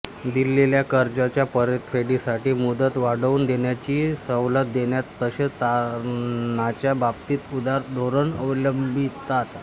दिलेल्या कर्जाच्या परतफेडीसाठी मुदत वाढवून देण्याची सवलत देतात तसेच तारणाच्या बाबतीतही उदार धोरण अवलंबितात